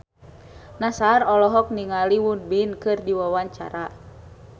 Nassar olohok ningali Won Bin keur diwawancara